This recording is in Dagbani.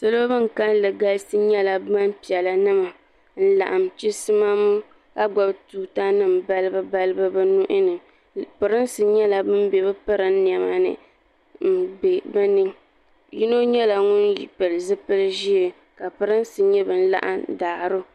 salo bin kanli galisi nyɛla gbapiɛla nima n laɣam chisimam ka gbubi tuuta nim balibu balibu bi nuuni pirinsi nyɛla ban bɛ bi pirin niɛma ni n bɛ bi ni yino nyɛla ŋun pili zipili ʒiɛ ka pirinsi nyɛ bin laɣam daaro